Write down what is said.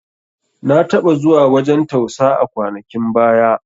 Na taɓa zuwa wajan tausa a kwanakin baya